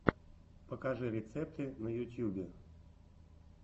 покажи рецепты на ютьюбе